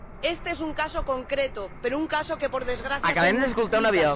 Este es un caso concreto, pero un caso que, por desgracia, se multiplica.